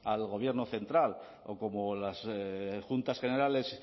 al gobierno central o como las juntas generales